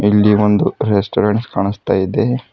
ಇಲ್ಲಿ ಒಂದು ರೆಸ್ಟೋರೆಂಟ್ ಕಾಣಿಸ್ತ ಇದೆ.